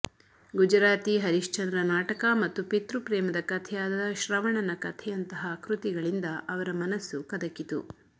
ಗುಜರಾತಿ ಹರಿಶ್ಚಂದ್ರ ನಾಟಕ ಮತ್ತು ಪಿತೃಪ್ರೇಮದ ಕಥೆಯಾದ ಶ್ರವಣನ ಕಥೆಯಂತಹ ಕೃತಿಗಳಿಂದ ಅವರ ಮನಸ್ಸು ಕದಕಿತು